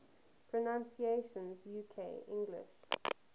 pronunciations uk english